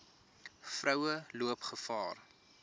vroue loop gevaar